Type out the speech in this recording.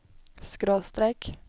skråstrek